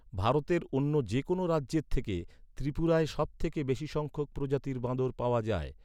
ভারতের অন্য যে কোনও রাজ্যের থেকে, ত্রিপুরায় সব থেকে বেশি সংখ্যক প্রজাতির বাঁদর পাওয়া যায়।